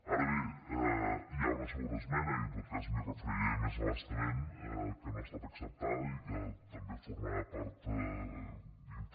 ara bé hi ha una segona esmena i en tot cas m’hi referiré més a bastament que no ha estat acceptada i que també formava part